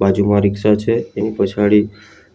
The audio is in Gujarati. બાજુમાં રીક્ષા છે એની પછાડી